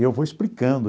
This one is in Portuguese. Eu vou explicando.